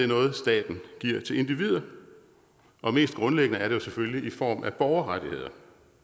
noget staten giver til individer og mest grundlæggende er det jo selvfølgelig i form af borgerrettigheder